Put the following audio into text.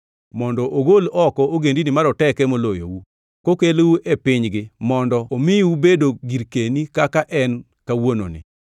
mondo ogol oko ogendini maroteke moloyou, kokelou e pinygi mondo omiu bedo girkeni kaka en kawuononi.